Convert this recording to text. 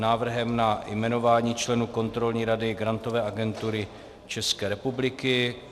Návrh na jmenování členů Kontrolní rady Grantové agentury České republiky